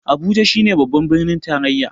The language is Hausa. Abuja shi ne babban birnin tarayya